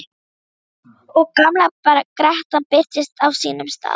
Og gamla grettan birtist á sínum stað.